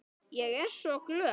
Ég er svo glöð.